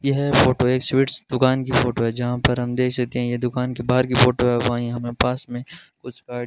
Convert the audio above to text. यह फोटो एक स्वीट्स दुकान की फोटो है जहां पर हम देख सकते हैं ये दुकान की बाहर की फोटो है वहां ही हमें पास में कुछ का--